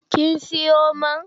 Kin siyo man?